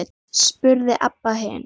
spurði Abba hin.